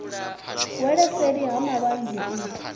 wele seli ha malwanzhe u